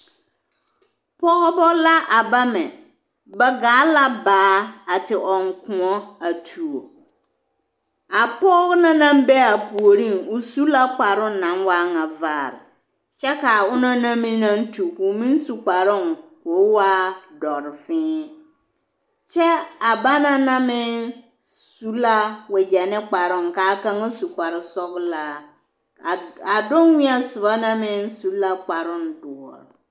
Pɔgebɔ la a bamɛ, ba gaa la baa a te ɔŋ kõɔ a tuo, a pɔge na naŋ be a puoriŋ, o su la kparoŋ naŋ waa ŋa vaare kyɛ k'a onaŋ na meŋ naŋ tu k'o meŋ su kparoŋ k'o waa dɔre fiiŋ kyɛ a banaŋ na meŋ su la wegyɛ ne kparoŋ k'a kaŋa su kpare sɔgelaa a donwēɛ soba na meŋ su la kparoŋ doɔre.